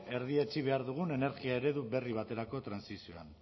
erdietsi behar dugun energia eredu berri baterako trantsizioa